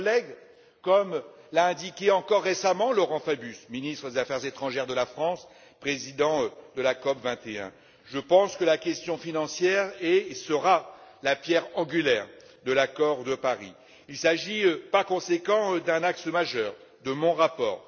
Chers collègues, comme l'a indiqué encore récemment Laurent Fabius, ministre des affaires étrangères de la France et président de la COP 21, je pense que la question financière est et sera la pierre angulaire de l'accord de Paris. Il s'agit par conséquent d'un axe majeur de mon rapport.